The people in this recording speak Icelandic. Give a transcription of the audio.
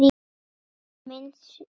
Þetta er minnst sök.